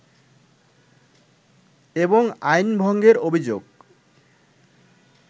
এবং আইন ভঙ্গের অভিযোগ